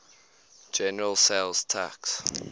general sales tax